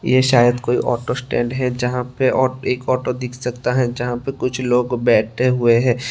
ये शायद कोई ऑटो स्टैंड है जहां पे एक ऑटो दिख सकता है जहां पे कुछ लोग बैठे हुए हैं।